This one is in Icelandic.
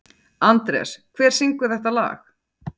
Andrés, hver syngur þetta lag?